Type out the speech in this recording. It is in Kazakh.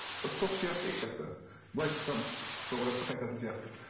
бір тоқ сияқты екі жақта былай шықсам тоқ ұрады да қайтатын сияқты